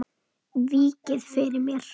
Víkið fyrir mér.